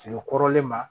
Sigi kɔrɔlen ma